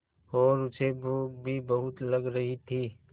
और उसे भूख भी बहुत लग रही थी